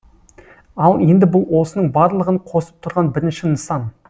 ал енді бұл осының барлығын қосып тұрған бірінші нысан